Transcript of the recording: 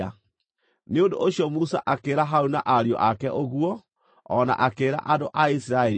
Nĩ ũndũ ũcio Musa akĩĩra Harũni na ariũ ake ũguo, o na akĩĩra andũ a Isiraeli othe.